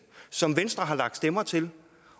som venstre har lagt stemmer til